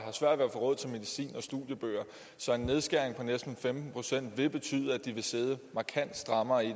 få råd til medicin og studiebøger så en nedskæring på næsten femten procent vil betyde at de vil sidde markant strammere i